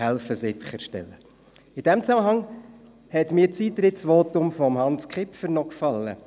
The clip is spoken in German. In diesem Zusammenhang hat mir das Eintrittsvotum von Hans Kipfer gefallen.